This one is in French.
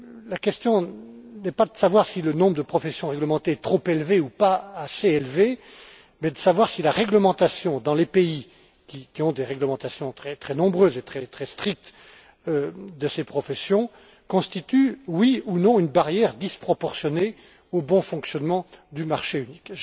La question n'est pas de savoir si le nombre de professions réglementées est trop élevé ou pas assez élevé, mais de savoir si la réglementation, dans les pays qui ont des réglementations très nombreuses et très strictes de ces professions, constitue oui ou non une barrière disproportionnée au bon fonctionnement du marché unique.